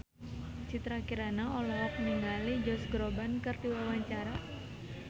Citra Kirana olohok ningali Josh Groban keur diwawancara